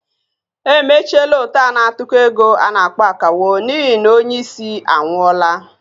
Emechiela ót a na-atụkọ égo a na-akpọ "Akawo" n'ihi na onye isi anwụọla